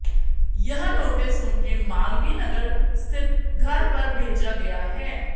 यह नोटिस उनके मालवीय नगर स्थित घर पर भेजा गया है